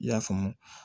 I y'a faamu